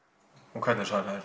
og hvernig svaraðir